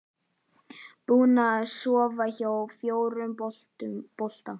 Búin að sofa hjá fjórum fótbolta